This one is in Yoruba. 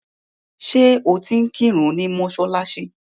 Ṣẹ́ o ti ń kírun ni mọ́ṣáláṣí?